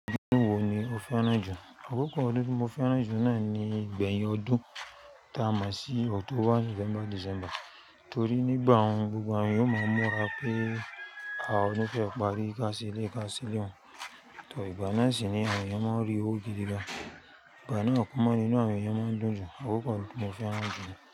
Odún wo ni o fẹ́ràn jù? Àkókò odún tí mo fẹ́ràn jù náà ni ìgbẹ̀yìn ọdún ta mọ̀ sí October, November, December torí nígbà wọn gbogbo àwọn yóò máa mura pé a ò ní fẹ́ p, arí ká sílé, ká sílé, to ìgbà náà sì ni àwọn èèyàn máa ń rí owó gidi gan. Ìgbà náà kúnmọ̀ nínú àwọn èèyàn máa ń dùn jú, àkókò tí mo fẹ́ràn jù ni.